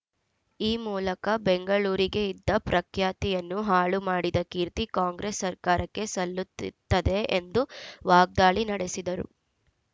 ಈ ಮೂಲಕ ಬೆಂಗಳೂರಿಗೆ ಇದ್ದ ಪ್ರಖ್ಯಾತಿಯನ್ನು ಹಾಳು ಮಾಡಿದ ಕೀರ್ತಿ ಕಾಂಗ್ರೆಸ್‌ ಸರ್ಕಾರಕ್ಕೆ ಸಲ್ಲುತಿ ತ್ತದೆ ಎಂದು ವಾಗ್ದಾಳಿ ನಡೆಸಿದರು